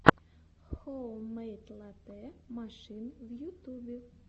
хоуммэйд латэ машин в ютубе